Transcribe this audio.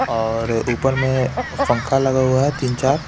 और ऊपर में फंखा लगा हुआ है तीन चार--